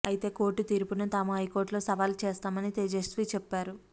అయితే కోర్టు తీర్పును తాము హైకోర్టులో సవాలు చేస్తామని తేజస్వి చెప్పారు